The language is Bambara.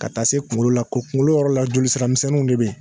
Ka taa se kungolo la kungolo yɔrɔ la jolisiramisɛnninw de be yen